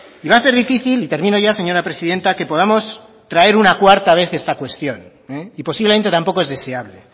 y va a ser difícil y termino ya señora presidenta que podamos traer una cuarta vez esta cuestión y posiblemente tampoco es deseable